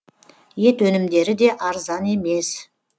ет өнімдері де арзан емес